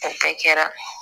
A bɛɛ kɛra